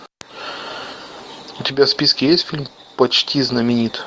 у тебя в списке есть фильм почти знаменит